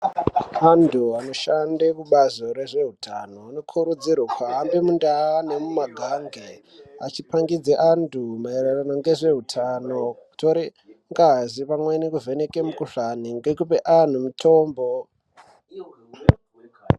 Antu anoshanda kubazi rezveutano vanokurudzirwa kuhamba mundau nemumugange achipangidza antu maererano ngezveutano kutora ngazi vavheneeka mukuhlani nekupa antu mitombo.